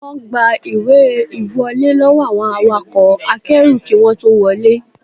Wọ́n gba ìwé ìwọlé lọ́wọ́ àwọn awakọ̀ akẹ́rù kí wọ́n tó wọlé